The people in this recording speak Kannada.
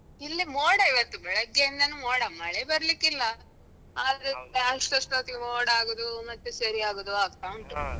ಇಲ್ಲಿ ಮೋಡ ಇವತ್ತು ಬೆಳಗ್ಗೆಯಿಂದನೂ ಮೋಡ ಮಳೆ ಬರಲಿಕ್ಕಿಲ್ಲ ಆದ್ರೆ ಮೋಡ ಆಗುದು ಮತ್ತೆ ಸರಿಯಾಗುದು ಆಗ್ತಾ ಉಂಟು.